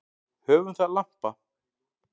Höfum það lampa.